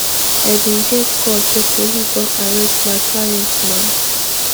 i bin get call say police don arrest my client na